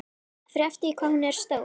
Það fer eftir því hvað hún er stór.